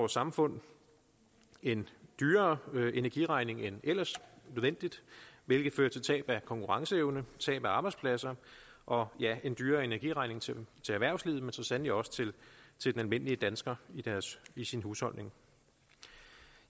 samfund en dyrere energieregning end nødvendigt hvilket fører til tab af konkurrenceevne og arbejdspladser og ja en dyrere energiregning til erhvervslivet men så sandelig også til til den almindelige danskers husholdning